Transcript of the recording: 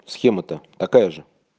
схема то такая же